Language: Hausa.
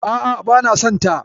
A'a, bana son ta.